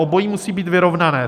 Obojí musí být vyrovnané.